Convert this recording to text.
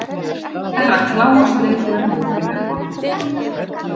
Herra Kláus leit yfir hópinn við borðið.